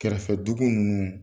Kɛrɛfɛ dugu nunnu